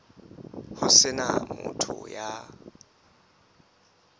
ho se na motho ya